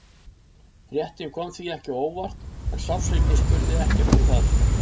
Fréttin kom því ekki á óvart en sársaukinn spurði ekkert um það.